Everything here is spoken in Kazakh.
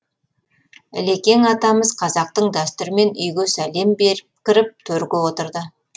ілекең атамыз қазақтың дәстүрімен үйге сәлем беріп кіріп төрге отырды